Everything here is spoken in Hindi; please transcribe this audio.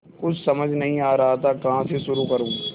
कुछ समझ नहीं आ रहा था कहाँ से शुरू करूँ